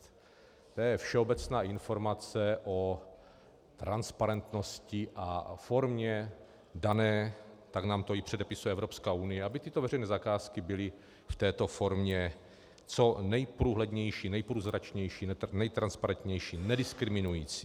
To je všeobecná informace o transparentnosti a formě dané - tak nám to i předepisuje Evropská unie, aby tyto veřejné zakázky byly v této formě co nejprůhlednější, nejprůzračnější, nejtransparentnější, nediskriminující.